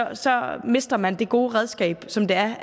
mister man det gode redskab som det er